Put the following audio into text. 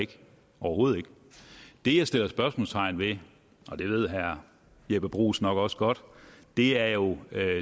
overhovedet ikke det jeg sætter spørgsmålstegn ved og det ved herre jeppe bruus nok også godt er jo